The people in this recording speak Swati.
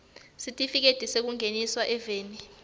sitifiketi sekungenisa eveni